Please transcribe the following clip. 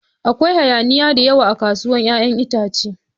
Akwai hayaniya da yawa a kasuwar 'ya'yan itace.